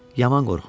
Yaman qorxurdun.